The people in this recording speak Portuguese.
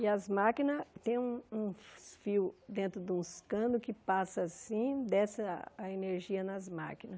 E as máquinas têm um uns fios dentro de uns canos que passa assim, e desce a a energia nas máquinas.